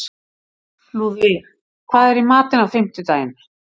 Lúðvíg, hvað er í matinn á fimmtudaginn?